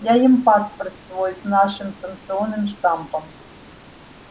я им паспорт свой с нашим станционным штампом